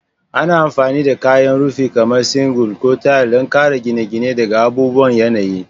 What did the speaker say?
Ana amfani da kayan rufi kamar shingle ko tayal don kare gine-gine daga abubuwan yanayi.